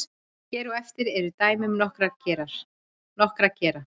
hér á eftir eru dæmi um nokkra gera